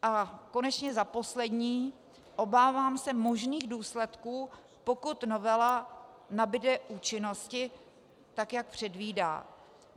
A konečně za poslední, obávám se možných důsledků, pokud novela nabude účinnosti tak, jak předvídá.